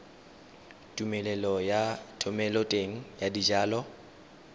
tumelelo ya thomeloteng ya dijalo